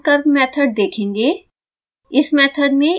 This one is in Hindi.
हम reaction curve मेथड देखेंगे